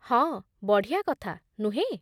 ହଁ! ବଢ଼ିଆ କଥା, ନୁହେଁ?